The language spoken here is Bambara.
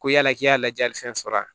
Ko yala k'i y'a lajɛlifɛn sɔrɔ a